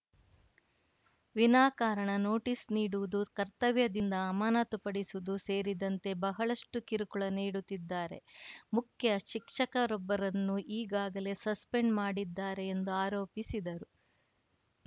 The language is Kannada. ವಿನಾಕಾರಣ ನೋಟಿಸ್‌ ನೀಡುವುದು ಕರ್ತವ್ಯದಿಂದ ಅಮಾನತುಪಡಿಸುವುದು ಸೇರಿದಂತೆ ಬಹಳಷ್ಟುಕಿರುಕುಳ ನೀಡುತ್ತಿದ್ದಾರೆ ಮುಖ್ಯ ಶಿಕ್ಷರೊಬ್ಬರನ್ನು ಈಗಾಗಲೇ ಸಸ್ಪೆಂಡ್‌ ಮಾಡಿದ್ದಾರೆ ಎಂದು ಆರೋಪಿಸಿದರು